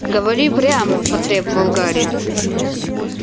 говори прямо потребовал гарри